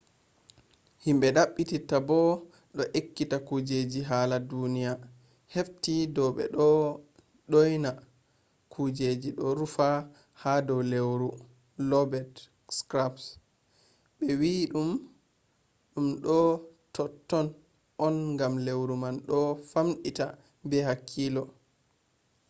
himɓe ɗaɓɓititta bo ɗo ekkita kujeji hala duniya hefti dow ɓe ɗo ɗyona kujeji ɗo rufi ha dow lewru lobet skraps. ɓe wi mo ɗum ɗo totton on gam lewru man ɗo famɗita be hakkiilo